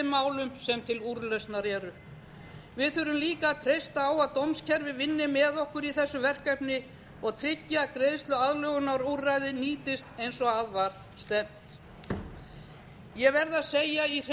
málum sem til úrlausnar eru við þurfum líka að treysta á að dómskerfið vinni með okkur í þessu verkefni og tryggi að greiðsluaðlögunarúrræðið nýtist eins og að var stefnt ég verð að segja